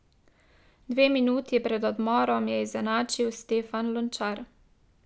Dve minuti pred odmorom je izenačil Stefan Lončar.